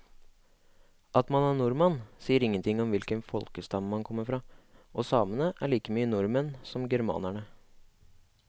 At man er nordmann sier ingenting om hvilken folkestamme man kommer fra, og samene er like mye nordmenn som germanerne.